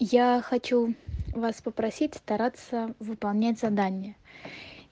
я хочу вас попросить стараться выполнять задание